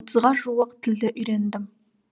отызға жуық тілді үйрендім